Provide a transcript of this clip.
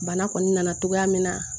Bana kɔni nana cogoya min na